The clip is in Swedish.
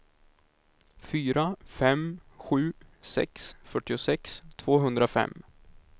fyra fem sju sex fyrtiosex tvåhundrafem